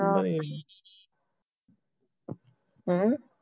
ਹਮ